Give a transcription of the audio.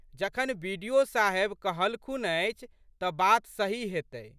जखन बि.डि.ओ.साहेब कहलखुन अछि तऽ बात सही हेतै।